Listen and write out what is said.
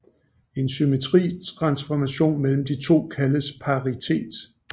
En symmetri transformation mellem de to kaldes paritet